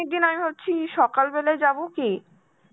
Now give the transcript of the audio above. দিন আমি ভাবছি সকালবেলায় যাব কি?